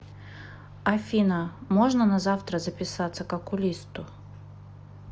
афина можно на завтра записаться к окулисту